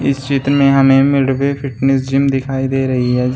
इस चित्र में हमें मिडवे फिटनेस जिम दिखाई दे रही है जिस--